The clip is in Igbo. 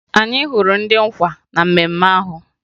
Anyị hụrụ ndị nkwa na mmemme ahụ